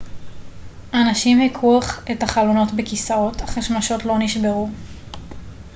אנשים הכו את החלונות בכיסאות אך השמשות לא נשברו